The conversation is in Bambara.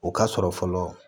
O ka sɔrɔ fɔlɔ